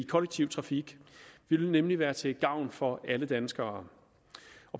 kollektiv trafik det vil nemlig være til gavn for alle danskere